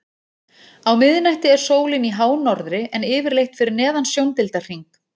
Á miðnætti er sólin í hánorðri en yfirleitt fyrir neðan sjóndeildarhring.